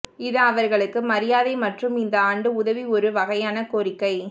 இது அவர்களுக்கு மரியாதை மற்றும் இந்த ஆண்டு உதவி ஒரு வகையான கோரிக்கை